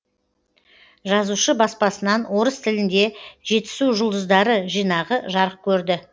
жазушы баспасынан орыс тілінде жетісу жұлдыздары жинағы жарық көрді